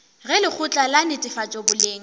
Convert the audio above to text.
ge lekgotla la netefatšo boleng